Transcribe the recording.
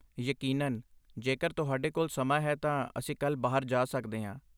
ਯਕੀਨਨ, ਜੇਕਰ ਤੁਹਾਡੇ ਕੋਲ ਸਮਾਂ ਹੈ ਤਾਂ ਅਸੀਂ ਕੱਲ੍ਹ ਬਾਹਰ ਜਾ ਸਕਦੇ ਹਾਂ।